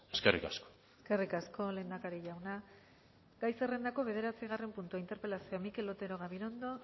eskerrik asko eskerrik asko lehendakari jauna gai zerrendako bederatzigarren puntua interpelazioa mikel otero gabirondo